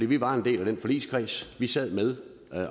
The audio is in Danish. vi var en del af den forligskreds vi sad med